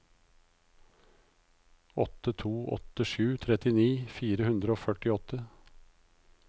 åtte to åtte sju trettini fire hundre og førtiåtte